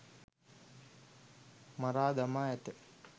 මරා දමා ඇත